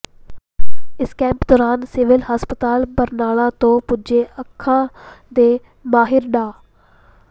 ਇਸ ਕੈਂਪ ਦੌਰਾਨ ਸਿਵਲ ਹਸਪਤਾਲ ਬਰਨਾਲਾ ਤੋਂ ਪੁੱਜੇ ਅੱਖਾਂ ਦੇ ਮਾਹਿਰ ਡਾ